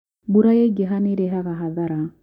Mbura yaingĩha nĩirehaga hathara